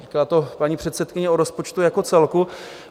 Byla to paní předsedkyně o rozpočtu jako celku.